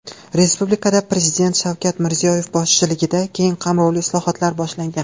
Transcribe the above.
Respublikada Prezident Shavkat Mirziyoyev boshchiligida keng qamrovli islohotlar boshlangan.